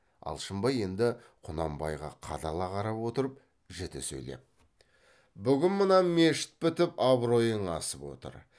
алшынбай енді құнанбайға қадала қарап отырып жіті сөйлеп бүгін мына мешіт бітіп абыройың асып отыр